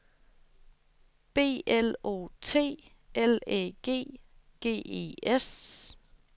B L O T L Æ G G E S